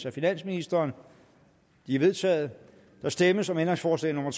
af finansministeren de er vedtaget der stemmes om ændringsforslag nummer